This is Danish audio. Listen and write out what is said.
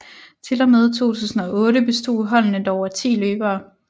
Til og med 2008 bestod holdene dog af 10 løbere